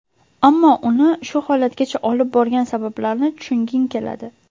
Ammo uni shu holatgacha olib borgan sabablarni tushunging keladi.